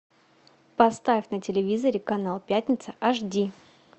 поставь на телевизоре канал пятница аш ди